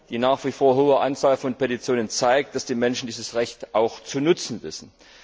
Die nach wie vor hohe Anzahl an Petitionen zeigt, dass die Menschen dieses Recht auch zu nützen wissen.